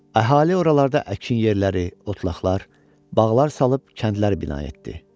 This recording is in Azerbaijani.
Əhali oralarda əkin yerləri, otlaqlar, bağlar salıb kəndlər bina etdi.